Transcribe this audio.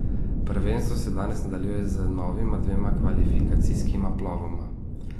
Prvenstvo se danes nadaljuje z novima dvema kvalifikacijskima plovoma.